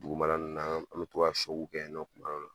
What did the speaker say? Dugumana nunnu na an mi to ka kɛ yen nɔ kuma dɔw la